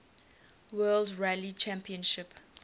world rally championship